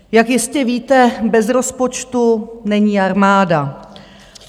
Jak jistě víte, bez rozpočtu není armáda.